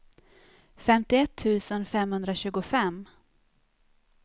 femtioett tusen femhundratjugofem